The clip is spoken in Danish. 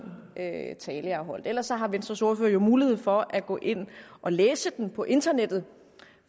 tale jeg har holdt ellers har venstres ordfører jo mulighed for at gå ind og læse den på internettet